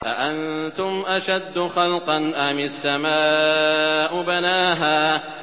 أَأَنتُمْ أَشَدُّ خَلْقًا أَمِ السَّمَاءُ ۚ بَنَاهَا